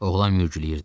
Oğlan mürgüləyirdi.